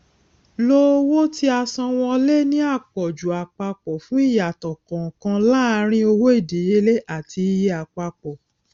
lo owó tíasanwọlé ní àpọjù àpapọ fún ìyàtọ kànkan láàrín owó ìdíyelé àti iye àpapọ